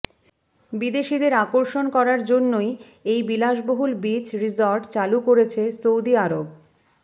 বিদেশিদের আকর্ষণ করার জন্যই এই বিলাসবহুল বিচ রিসর্ট চালু করছে সৌদি আরব